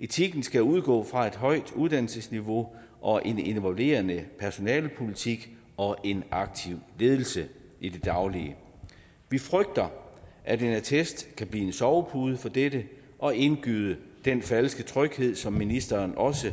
etikken skal udgå fra et højt uddannelsesniveau og en involverende personalepolitik og en aktiv ledelse i det daglige vi frygter at en attest kan blive en sovepude for dette og indgyde falsk tryghed som ministeren også